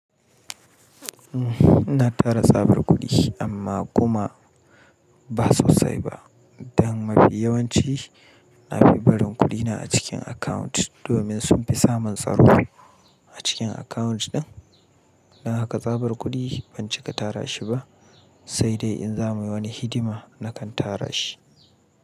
Na tara tsabar kuɗi amma kuma ba sosai ba. Don mafi yawanci na fi barin kuɗina a cikin account domin sun fi samun tsaro a cikin account ɗin. Don haka tsabar kuɗi ban cika tara shi ba sai dai in za mu yi wani hidima na kan tara shi.